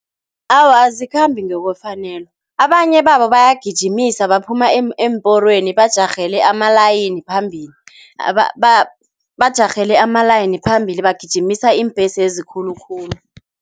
Awa, azikhambi ngokwefanelo, abanye babo bayagijimisa baphuma eemporweni bajarhele amalayini phambili, bajarhele ama-line phambili bagijimisa iimbhesezi khulukhulu.